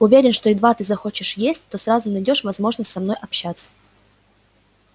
уверен что едва ты захочешь есть то сразу найдёшь возможность со мной общаться